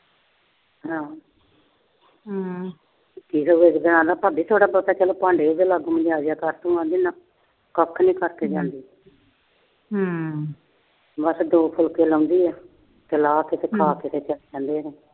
ਭਾਬੀ ਚਲ ਥੋੜਾ ਬਹੁਤਾ ਭਾਂਡੇ ਤਾਂ ਨਾਲ ਮਨਜਾ ਦਿਆ ਕਰ। ਕਹਿੰਦੀ ਨਾ। ਕੱਖ ਨੀ ਕਰਕੇ ਜਾਂਦੀ। ਬਸ ਦੋ ਫੁਲਕੇ ਲਾਉਂਦੀ ਆ। ਤੇ ਖਾ ਕੇ ਚਲੇ ਜਾਂਦੇ ਨੇ।